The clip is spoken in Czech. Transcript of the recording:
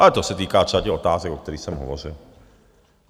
Ale to se týká třeba těch otázek, o kterých jsem hovořil.